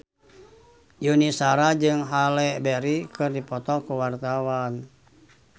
Yuni Shara jeung Halle Berry keur dipoto ku wartawan